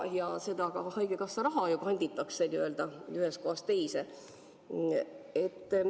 Ka seda haigekassa raha ju kanditakse ühest kohast teise.